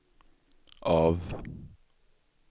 av